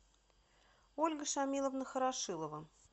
ольга шамиловна хорошилова